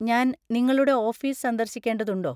ഞാൻ നിങ്ങളുടെ ഓഫീസ് സന്ദർശിക്കേണ്ടതുണ്ടോ?